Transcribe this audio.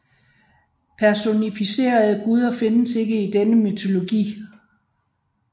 Personificerede guder findes ikke i denne mytologi